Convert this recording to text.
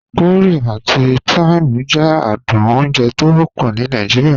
Curry ati thyme jẹ àdùn ọ̀unjè tọ wọpọ ní Nàìjíríà.